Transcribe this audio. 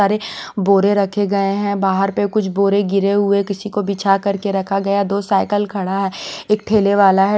सारे बोरे रखे गये है बाहर पे कुछ बोरे गिरे हुए किसी को बिछाकर के रखा गया है दो साइकल खड़ा है एक ठेले वाला है।